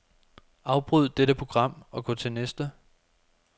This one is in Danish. Afbryd dette program og gå til næste.